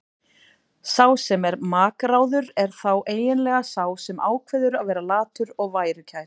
Sá sem er makráður er þá eiginlega sá sem ákveður að vera latur og værukær.